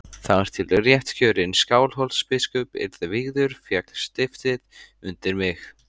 Þar til réttkjörinn Skálholtsbiskup yrði vígður féll stiftið undir mig.